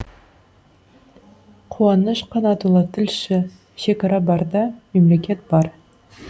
қуаныш қанатұлы тілші шекара барда мемлекет бар